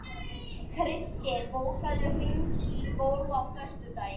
Kristgeir, bókaðu hring í golf á föstudaginn.